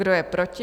Kdo je proti?